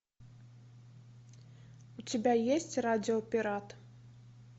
у тебя есть радио пират